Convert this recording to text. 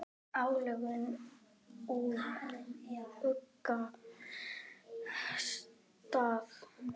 álögin úr ugga stað